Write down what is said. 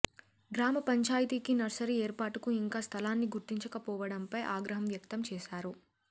గ్రామ పంచాయతీకి నర్సరీ ఏర్పాటుకు ఇంకా స్థలాన్ని గుర్తించక పోవడంపై ఆగ్రహం వ్యక్తం చేసారు